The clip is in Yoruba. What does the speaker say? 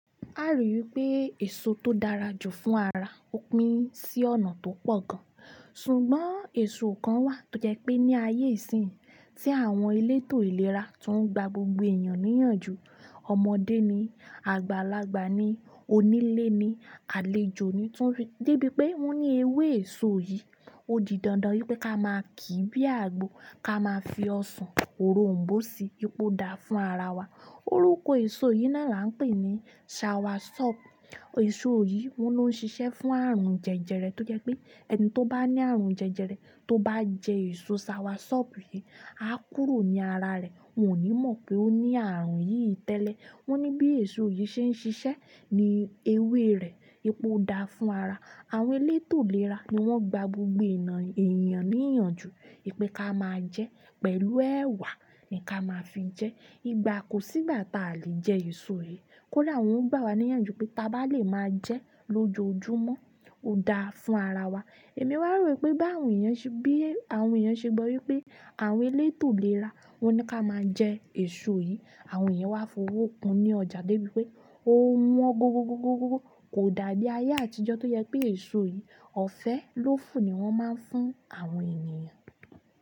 A ri wipé èso tó dára jù fún ara, ó pín sí ọ̀nà tó pọ̀ gan. Ṣùgbọ́n èso kan wà tó jẹ pé ní ayé ìsínyii, tí àwọn elétò ìlera tó ń gba gbogbo èèyàn níyànjú, ọmọdé ni, àgbàlagbà ni, onílé ni, àlejò ni, dé bí pé wọn ní ewé èso yìí. Ó di dandan wípé ká máa kìí bí àgbo, ká máa fi ọsàn òrom̀bó si, wípé o da fún ara wa. Orúkọ èso yìí náà là ń pè ní "soursop". Èso yìí, wón ni ó ń ṣiṣẹ́ fún àrùn jẹjẹrẹ, tó jẹ pé ẹni tó bá ní àrùn jẹjẹrẹ tó bá jẹ èso soursop yìí, á kúrò ní ara rẹ, wọn ò ní mọ̀ pé ó ní àrùn yìí tẹ́lẹ̀. Wọ́n ní bí èso yìí ṣe ń ṣiṣẹ́ ní ewé rẹ̀, wípé o da fún ara. Àwọn elétò ìlera ni wọ́n gba gbogbo èèyàn níyànjú, wipé ká máa jẹ pẹ̀lú ẹ̀wà ni ká máa fi jẹ. Kò sí ìgbà táa lè jẹ èso yìí. Kódà wọn gbà wá níyànjú pe, taa ba lè máa jẹ lojoojumọ o da fún ara wa. Èmi wá rò wipé, bí àwọn èèyàn ṣe gbọ́ wípé àwọn elétò ìlera wọ́n ní ká máa jẹ èso yìí, àwọn èèyàn wá fowó kun ní ọjà dé bi pé ó wọn gogogogogo. Kò dàbí ayé àtijọ́ tó jẹ pé èso yìí, ọ̀fẹ́ lófo ni wọ́n máa ń fún àwọn ènìyàn.